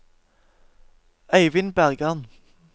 Eivind Bergan